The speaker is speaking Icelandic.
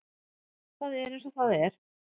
Það er eins og það er